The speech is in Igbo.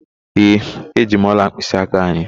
Ee, eji m ọla mkpịsịaka anyị.